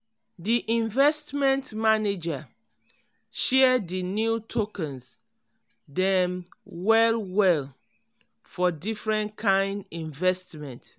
di investment manager um share di new tokens dem well-well for different kind investment.